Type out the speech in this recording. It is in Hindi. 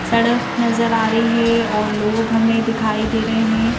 सड़क नजर आ रही है और लोग हमें दिखाई दे रहे हैं।